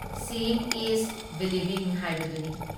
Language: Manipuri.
ꯁꯤꯌꯤꯡ ꯏꯁ ꯕꯤꯂꯤꯕꯤꯡ ꯍꯥꯏꯕꯗꯨꯅꯤ ꯫